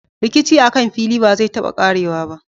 Rikici akan fili ba zai taba ƙarewa ba.